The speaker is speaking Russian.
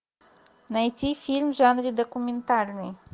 найти фильм в жанре документальный